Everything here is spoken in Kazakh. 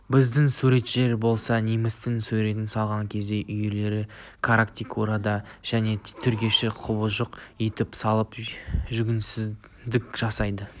біздің суретшілер болса немістің суретін салған кезде үрейлі каррикатура жан түршігер құбыжық етіп салып жүгенсіздік жасайды